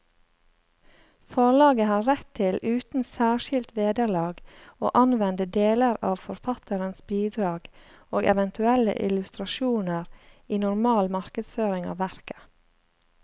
Forlaget har rett til uten særskilt vederlag å anvende deler av forfatterens bidrag og eventuelle illustrasjoner i normal markedsføring av verket.